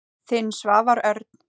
Þinn, Svavar Örn.